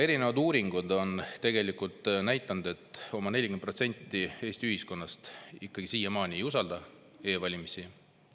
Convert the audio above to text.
Erinevad uuringud on tegelikult näidanud, et oma 40% Eesti ühiskonnast siiamaani ei usalda e-valimisi.